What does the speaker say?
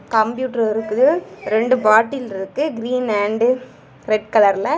Computer இருக்கு ரெண்டு bottle இருக்கு கிரீன் அன்ட் ரெட் கலர்ல .